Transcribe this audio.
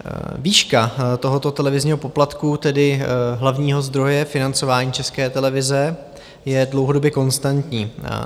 Výška tohoto televizního poplatku, tedy hlavního zdroje financování České televize, je dlouhodobě konstantní.